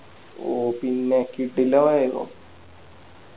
ഓ പിന്നെ കിടിലമായിരുന്നു